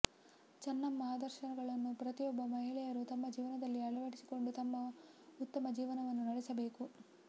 ಚನ್ನಮ್ಮ ಆದರ್ಶಗಳನ್ನು ಪ್ರತಿಯೊಬ್ಬ ಮಹಿಳೆಯರು ತಮ್ಮ ಜೀವನದಲ್ಲಿ ಅಳವಡಿಸಿಕೊಂಡು ತಮ್ಮ ಉತ್ತಮ ಜೀವನವನ್ನು ನಡೆಸಬೇಕು